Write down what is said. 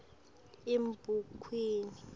emabhukwini